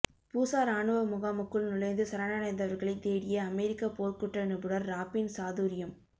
பூசா இராணுவ முகாமுக்குள் நுழைந்து சரணடைந்தவர்களை தேடிய அமெரிக்க போர்க்குற்ற நிபுணர் ராப்பின் சாதுரியம்